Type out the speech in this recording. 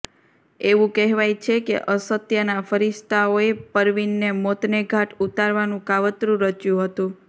એવું કહેવાય છે કે અસત્યના ફરિસ્તાઓએ પરવીનને મોતને ઘાટ ઉતારવાનું કાવતરું રચ્યું હતું